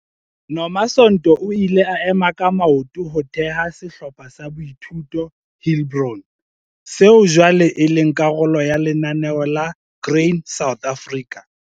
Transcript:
Nomasonto o ile a ema ka maoto ho theha sehlopha sa boithuto Heilbron, seo jwale e leng karolo ya Lenaneo la Grain SA.